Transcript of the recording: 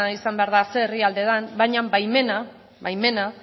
izan behar da zein herrialde den baina baimena baimena